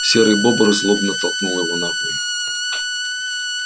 серый бобр злобно толкнул его на хуй